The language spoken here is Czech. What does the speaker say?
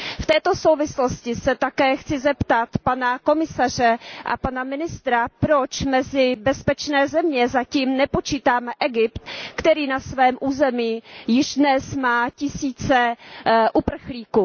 V této souvislosti se také chci zeptat pana komisaře a pana ministra, proč mezi bezpečné země zatím nepočítáme Egypt, který na svém území již dnes má tisíce uprchlíků.